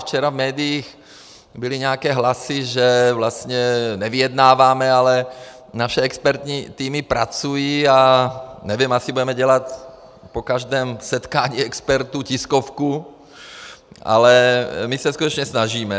Včera v médiích byly nějaké hlasy, že vlastně nevyjednáváme, ale naše expertní týmy pracují a nevím, asi budeme dělat po každém setkání expertů tiskovku, ale my se skutečně snažíme.